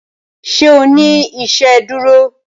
ṣe o ní iṣeduro?